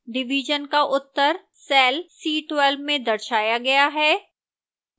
division का उत्तर cell c12 में दर्शाया गया है